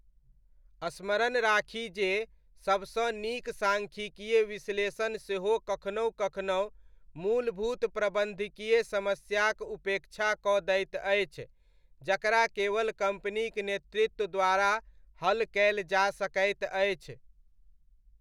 स्मरण राखी जे सबसँ नीक सांख्यिकीय विश्लेषण सेहो कखनहु कखनहु मूलभूत प्रबन्धकीय समस्याक उपेक्षा कऽ दैत अछि जकरा केवल कम्पनीक नेतृत्व द्वारा हल कयल जाय सकैत अछि।